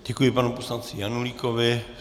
Děkuji pan poslanci Janulíkovi.